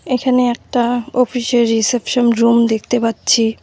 এখানে একটা অফিস -এর রিসেপশন রুম দেখতে পাচ্ছি।